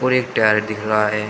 Black tyre दिख रहा है।